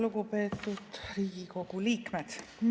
Lugupeetud Riigikogu liikmed!